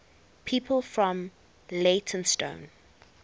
people from leytonstone